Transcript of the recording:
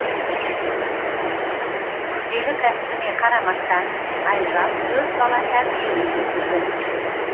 күрделі кәсібіне қарамастан айжан төрт бала тәрбиелеп өсірді